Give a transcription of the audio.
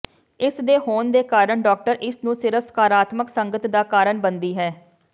ਇਸ ਦੇ ਹੋਣ ਦੇ ਕਾਰਨ ਡਾਕਟਰ ਇਸ ਨੂੰ ਸਿਰਫ ਸਕਾਰਾਤਮਕ ਸੰਗਤ ਦਾ ਕਾਰਨ ਬਣਦੀ ਹੈ